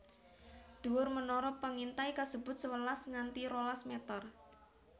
Dhuwur menara pengintai kasebut sewelas nganti rolas meter